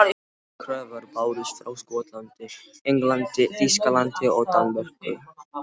Aðrar kröfur bárust frá Skotlandi, Englandi, Þýskalandi og Danmörku.